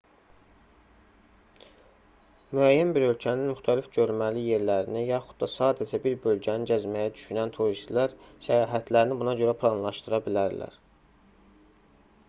müəyyən bir ölkənin müxtəlif görməli yerlərini yaxud da sadəcə bir bölgəni gəzməyi düşünən turistlər səyahətlərini buna görə planlaşdıra bilərlər